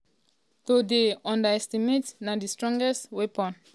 to dey underestimated na di strongest um weapon.